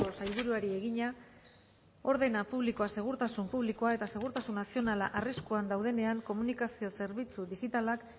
sailburuari egina ordena publikoa segurtasun publikoa edo segurtasun nazionala arriskuan daudenean komunikazio zerbitzu digitalak